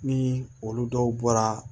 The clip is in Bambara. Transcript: Ni olu dɔw bɔra